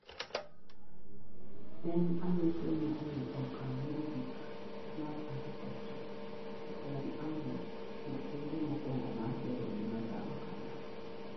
en an'go somo ei okang mogik mar architecture, to en ang'o okenge mokuongo mar gero gima chalo kamaa?